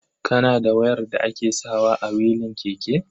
Kana da wayar da ake sawa a wilin keke?